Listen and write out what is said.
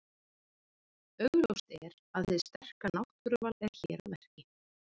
Augljóst er að hið sterka náttúruval er hér að verki.